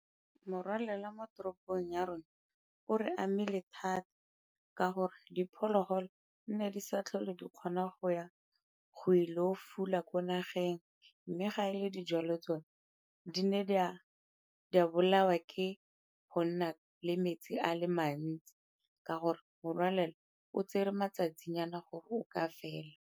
Morwalela mo teropong ya rona o re amile thata ka gore diphologolo nne di sa tlhole di kgona go ya go ile go fula ko nageng, mme ga e le dijalo tsone di ne di a bolawa ke go nna le metsi a le mantsi ka gore morwalela o tsere matsatsinyana gore o ka fela.